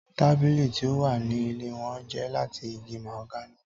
Tabili ti o wa ni ile wọn jẹ lati igi mahogany.